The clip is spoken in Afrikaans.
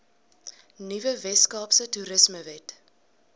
nuwe weskaapse toerismewet